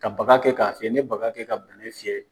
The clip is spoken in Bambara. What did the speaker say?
Ka baga kɛ ka fiyɛ. Ni ye baga kɛ ka fiyɛ